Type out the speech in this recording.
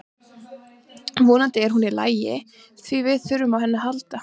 Vonandi er hún í lagi því við þurfum á henni að halda.